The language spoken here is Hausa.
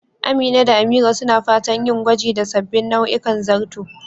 Amina da Amira suna fatan yin gwaji da sabbin nau'ikan zarto